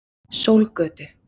Sólgötu